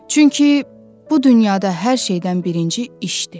Çünki bu dünyada hər şeydən birinci işdir.